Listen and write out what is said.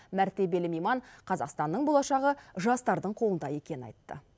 мәртебелі мейман қазақстанның болашағы жастардың қолында екенін айтты